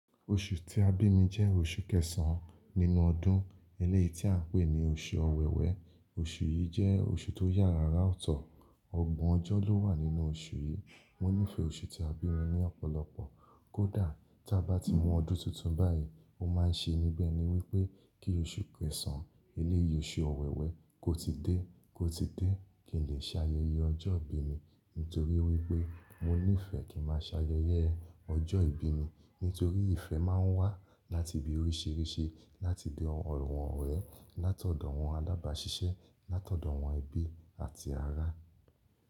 Oṣù tí a bí mi jẹ́ oṣù kẹsàn-án nínú ọdún, eléyìí tí à ń pè ní oṣù Ọ̀wẹ̀wẹ̀. Oṣù yìí jẹ́ oṣù tó yára ọ̀tọ̀, ọgbọ̀n ọjọ́ ló wà nínú oṣù yìí. Mo nífẹ̀ẹ́ oṣù tí a bí mi ní ọ̀pọ̀lọpọ̀, kódà tí a bá ti mu ọdún tuntun báyìí, ó máa ṣe níbẹ̀ ni wípé kí oṣù kẹsàn-án, eléyìí oṣù Ọ̀wẹ̀wẹ̀ kó ti dé, kó ti dé kí n lè ṣayẹyẹ ọjọ́ ìbí mi nítorí wípé mo nífẹ̀ẹ́ kí n máa ṣayẹyẹ ọjọ́ ìbí mi nítorí ìfẹ́ máa ń wá láti ibi oríṣìíríṣìí, láti ọ̀dọ̀ àwọn ọ̀rẹ́, látọ̀dọ̀ àwọn alábàáṣiṣẹ́, látọ̀dọ̀ àwọn ẹbí àti ará.